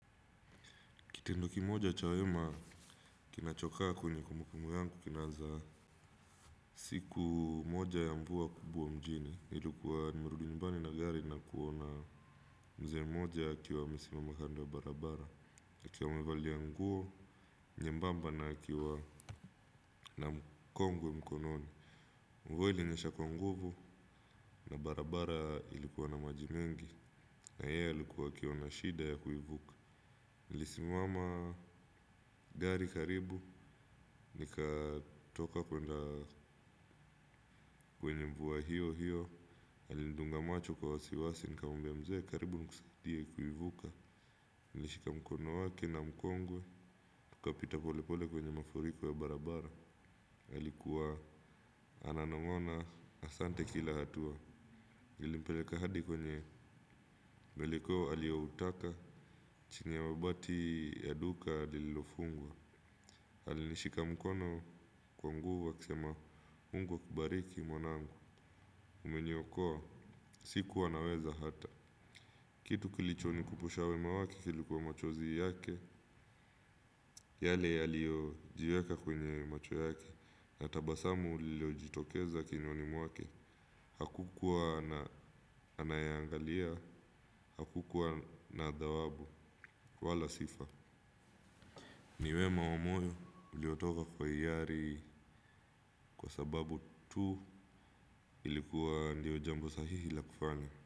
Kitendo kimoja cha wema kinachokaa kwenye kumbukumbu yangu kinaza siku moja ya mvua kubuo mjini. Ilikuwa nimerudu nyumbani na gari na kuona mzee mmoja akiwa amesimama kando ya barabara. Akiwa amevalia nguo nyembamba na akiwa na mkongwe mkononi. Mvua ilinyesha kwa nguvu na barabara ilikuwa na maji mengi na yeye alikuwa akiona shida ya kuivuku. Nilisimama gari karibu nikatoka kwenda kwenye mvua hiyo hiyo. Alinidunga macho kwa wasiwasi nikamwmbia mzee karibu nukusaidie kuivuka kunishika mkono wake na mkongwe, tukapita polepole kwenye mafuriko ya barabara ilikuwa ana ngamua asante kila hatua. Nilimpeleka hadi kwenye maeleko aliyoutaka chini ya mabati ya duka lililofungwa alinishika mkono kwa nguvu akisema mungu akubariki mwanangu umeniokoa sikuwa naweza hata kitu kilicho nikumbusha wema wake kilikuwa machozi yake yale yaliyo jiweka kwenye macho yake. Na tabasamu lilo jitokeza kinyoni mwake hakukuwa na anayangalia hakukuwa na dhawabu wala sifa. Ni wema wa moyo uliotoka kwa hiari kwa sababu tu ilikuwa ndio jambo sahihi la kufanya.